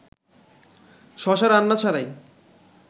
শশা রান্না ছাড়াই